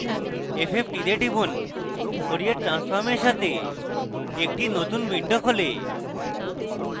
fft তে টিপুন fourier transform এর সাথে একটি নতুন window খোলে